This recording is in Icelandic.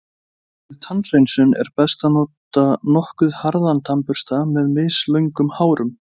Við tannhreinsun er best að nota nokkuð harðan tannbursta með mislöngum hárum.